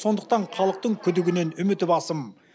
сондықтан халықтың күдігінен үміті басым